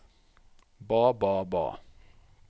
ba ba ba